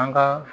An ka